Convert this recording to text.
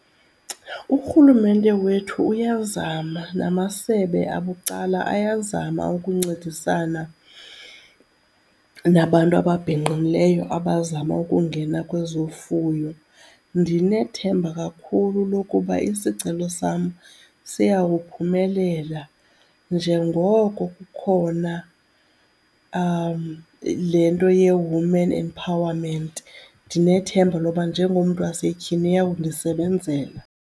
Urhulumente wethu uyazama namasebe abucala ayazama ukuncedisana nabantu ababhinqileyo abazama ukungena kwezofuyo. Ndinethemba kakhulu lokuba isicelo sam siyawuphumelela njengoko kukhona le nto ye-women empowerment. Ndinethemba lokuba njengomntu wasetyhini iyawundisebenzela.